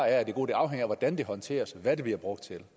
er af det gode det afhænger af hvordan den håndteres og hvad den bliver brugt til